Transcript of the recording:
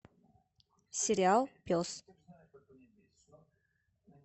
сериал пес